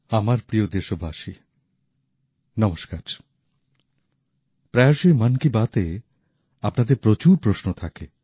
আমার প্রিয় দেশবাসী নমস্কার প্রায়শই মন কি বাত এ আপনাদের প্রচুর প্রশ্ন থাকে